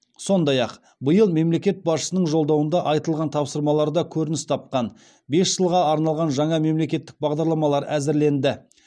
сондай ақ биыл мемлекет басшысының жолдауында айтылған тапсырмаларда көрініс тапқан бес жылға арналған жаңа мемлекеттік бағдарламалар әзірленді